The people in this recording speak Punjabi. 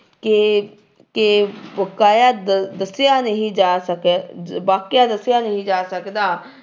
ਕੇ ਕੇ ਵਕਾਇਆ ਦ ਦੱਸਿਆ ਨਹੀਂ ਜਾ ਸਕ ਵਾਕਿਆ ਦੱਸਿਆ ਨਹੀਂ ਜਾ ਸਕਦਾ।